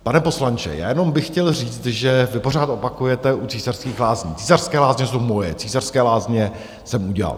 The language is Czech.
Pane poslanče, já jenom bych chtěl říct, že vy pořád opakujete u Císařských lázní: Císařské lázně jsou moje, Císařské lázně jsem udělal.